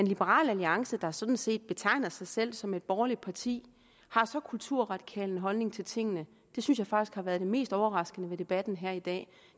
liberal alliance der sådan set betegner sig selv som et borgerligt parti har så kulturradikal en holdning til tingene synes jeg faktisk har været det mest overraskende ved debatten her i dag